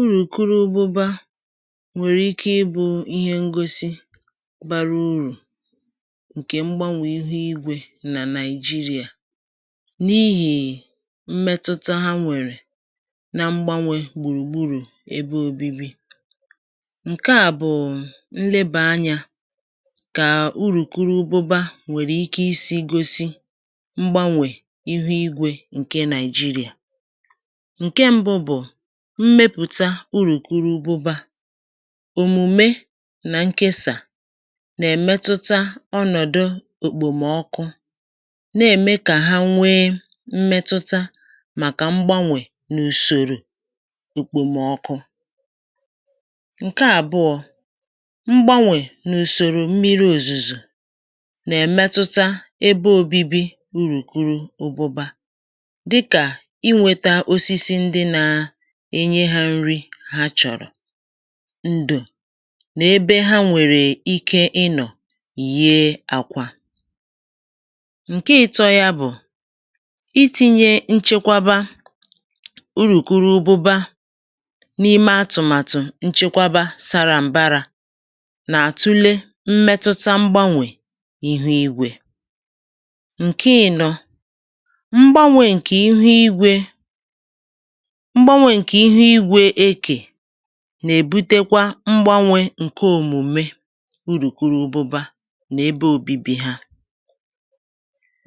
Urùkurubụbȧ nwèrè ike ịbụ̇ ihe ngosi bara ụrụ̀ ǹkè mgbanwè ihu igwė nà Nigeria n’ihì mmetụta ha nwèrè na mgbanwè gbùrùgburù ebe òbibi. Nke à bụ̀ nlebà anyȧ kà urùkurubụbȧ nwèrè ike isi̇ gosi mgbanwè ịhụ̇ igwė ǹkè Nigeria. Nke mbụ bu; mmepùta urùkurubụbȧ. Omùme nà nkesà nà-èmetuta ọnọ̀dụ òkpòmọkụ nà-ème kà ha nwee mmetuta màkà mgbanwè n’ùsòrò òkpòmọkụ. Nke àbụọ, mgbanwè n’ùsòrò mmiri òzùzo nà-èmetuta ebe òbibi urùkurubụba dịkà inwėtà osisi ndị na enye hȧ nri ha chọ̀rọ̀, ndo nà ebe ha nwèrè ike ịnọ̀ yie àkwa. Nkè ị̇tọ̇ yȧ bụ̀, iti̇nyė nchekwaba urùkurubụba n’ime atụ̀màtụ̀ nchekwaba sara mbarȧ nà àtụle mmetụta mgbanwè ihu igwė. Nkè ị̀nọ̇, mgbanwè ǹkè ihu igwė, mgbanwe nke ihu igwe eke nà-èbutekwa mgbanwe ǹke òmùme urùkurubụba nà ebe òbibi ha.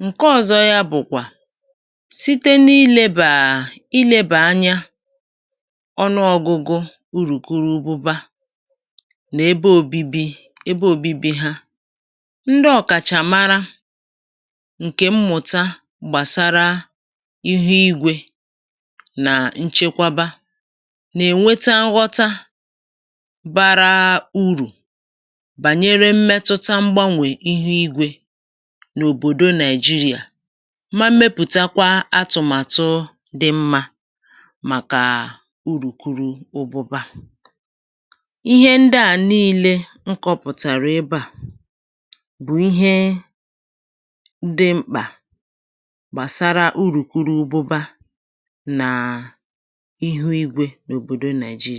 Nke ọ̀zọ ya bụ̀kwà, site n’ilėbà à à ilėbà anya ọnụọgụgụ urùkurubụba nà ebe òbibi ebe òbibi ha, ndị ọ̀kàchà mara ǹkè mmụ̀ta gbàsara ihu igwe na nchekwaba nà-ènweta nghọta bara urù bànyere mmetụta mgbanwè ihu igwė n’òbòdo Nigeria ma mmepùta kwa atụ̀matụ dị mmȧ màkà urùkuru ụbụba. Ihe ndịà niilė m kọpụ̀tàrà ebe à bụ̀ ihe dị mkpà gbàsara urùkurubụba nà ihu igwe n’obodo Nigeria.